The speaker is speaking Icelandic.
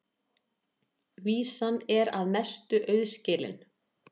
Vísan er að mestu auðskilin.